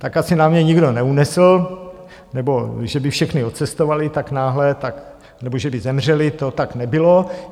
Tak asi nám je nikdo neunesl, nebo že by všechny odcestovaly tak náhle, nebo že by zemřely, to tak nebylo.